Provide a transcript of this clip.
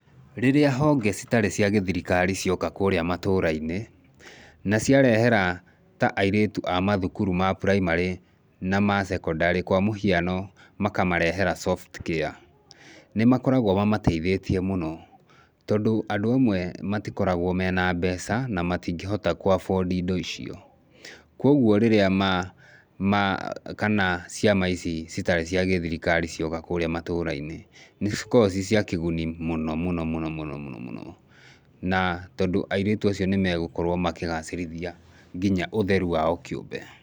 Rĩrĩa honge ciarĩ cia gĩthirikari cioka kũrĩa matũrainĩ naciarehera ta airĩtu amathukuru ma primary na ma secondary ta kwa mũhiano makamarehera Softcare nĩmakoragwo mamatĩithĩtie mũno tondũ andũ amwe matikoragwo mena mbeca na matikoragwa ku afford indo imwe ta icio, kwoguo rĩrĩa ciama ici itarĩ cia thirikari cioka kũrĩa matũrainĩ nĩcikoragwo ciciakĩgũni mũno mũnomũno na tondũ airĩtu acio nĩmegũkorwo makĩgacirithia nginya ũtheru wao kĩũmbe.